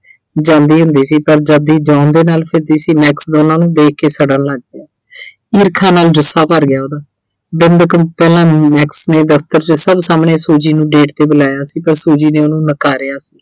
ਜਾਂਦੀ ਹੁੰਦੀ ਸੀ ਪਰ ਜਦ ਦੀ John ਦੇ ਨਾਲ ਫਿਰਦੀ ਸੀ Max ਦੋਨਾਂ ਨੂੰ ਦੇਖ ਕੇ ਸੜਨ ਲੱਗ ਪਿਆ। ਈਰਖਾ ਨਾਲ ਜੁੱਸਾ ਭਰ ਗਿਆ ਉਹਦਾ, ਬਿੰਦ ਕੁ ਪਹਿਲਾਂ Max ਨੇ ਦਫ਼ਤਰ 'ਚ ਸਭ ਸਾਹਮਣੇ Fuji ਨੂੰ date ਤੇ ਬੁਲਾਇਆ ਸੀ ਪਰ Fuji ਨੇ ਉਹਨੂੰ ਨਕਾਰਿਆ ਸੀ।